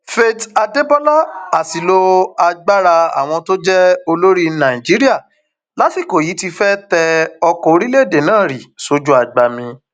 faith adébọlá àṣìlò agbára àwọn tó jẹ olórí nàìjíríà lásìkò yìí ti fẹẹ tẹ ọkọ orílẹèdè náà rì sójú agbami